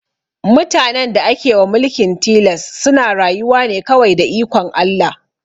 Mutanen da ake wa mulkin tilas suna rayuwa ne kawai da ikon Allah